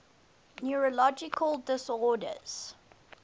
neurological disorders